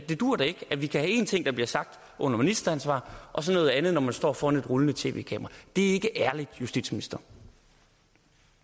det duer da ikke at vi kan have en ting der bliver sagt under ministeransvar og så noget andet når man står foran et rullende tv kamera det er ikke ærligt justitsminister